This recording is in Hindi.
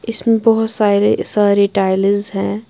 इसमें बहोत सारे सारे टाइल्स हैं।